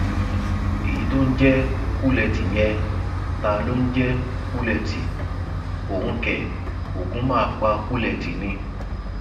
èyí tó ń jẹ kúlẹtì yẹn táá lọ ń jẹ kúlẹtì òun kẹ ogun máa pa kúlẹtì ni